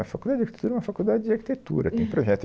A Faculdade de Arquitetura é uma faculdade de arquitetura, tem projeto.